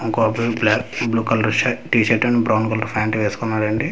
ఇంకొక అబ్బాయి black blue colour shirt T shirt and brown colour pant వేసుకున్నాడండి.